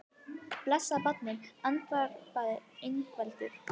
Blessað barnið, andvarpaði Ingveldur.